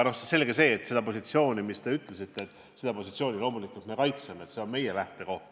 Selge see, et seda positsiooni, mida te nimetasite, me kaitseme, see on meie lähtekoht.